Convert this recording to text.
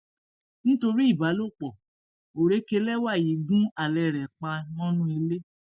nítorí ìbálòpọ òrékelẹwà yìí gun alẹ rẹ pa mọnú ilé